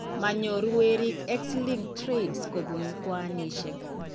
Manyoru weriik X linked traits kobun kwanisiek